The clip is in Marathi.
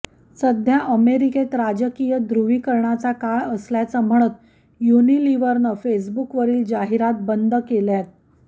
सध्या अमेरिकेत राजकीय ध्रुवीकरणाचा काळ असल्याचं म्हणत युनिलिव्हरनंही फेसबुकवरील जाहिराती बंद केल्यात